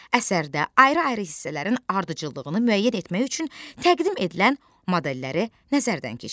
Əsərdə ayrı-ayrı hissələrin ardıcıllığını müəyyən etmək üçün təqdim edilən modelləri nəzərdən keçir.